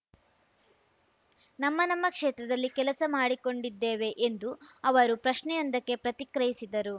ನಮ್ಮ ನಮ್ಮ ಕ್ಷೇತ್ರದಲ್ಲಿ ಕೆಲಸ ಮಾಡಿಕೊಂಡಿದ್ದೇವೆ ಎಂದು ಅವರು ಪ್ರಶ್ನೆಯೊಂದಕ್ಕೆ ಪ್ರತಿಕ್ರಿಯಿಸಿದರು